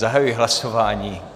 Zahajuji hlasování.